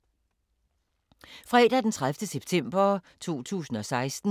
Fredag d. 30. september 2016